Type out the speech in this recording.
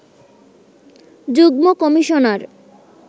যুগ্ম কমিশনার